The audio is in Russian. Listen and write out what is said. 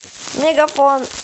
мегафон